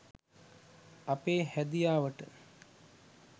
අපේ හැදියාවට